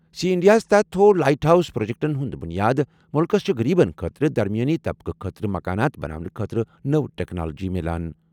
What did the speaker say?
C انڈیاہَس تحت تھوٚو لائٹ ہاؤس پروجیکٹَن ہُنٛد بُنیاد۔ مُلکَس چھِ غریبَن خٲطرٕ، درمیٲنی طبقہٕ خٲطرٕ مکانات بناونہٕ خٲطرٕ نٔو ٹیکنالوجی مِلان۔